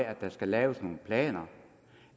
at der skal laves nogle planer